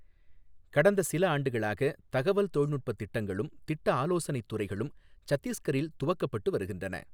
கடந்தசில ஆண்டுகளாக தகவல் தொழில்நுட்ப திட்டங்களும் திட்ட ஆலோசனைத் துறைகளும் சத்தீஸ்கரில் துவக்கப்பட்டு வருகின்றன.